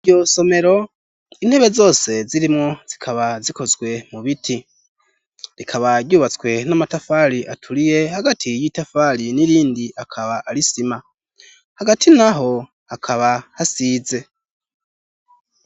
Iryo somero, intebe zose zirimwo zikaba zikozwe mu biti, rikaba ryubatswe n'amatafari aturiye, hagati y'itafari n'irindi, akaba ari isima, hagati naho hakaba hasize.